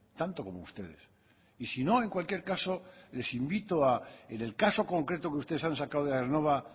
tanto como ustedes y sino en cualquier caso les invito en el caso concreto que ustedes han sacado de aernnova